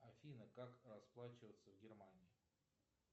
афина как расплачиваться в германии